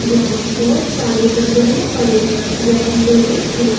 जहां बहुत सारी लकड़िया पड़ी व लोहे की--